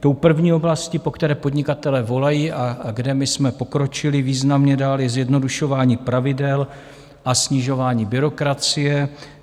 Tou první oblastí, po které podnikatelé volají a kde my jsme pokročili významně dál, je zjednodušování pravidel a snižování byrokracie.